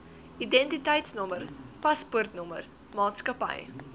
identiteitnommer paspoortnommer maatskappy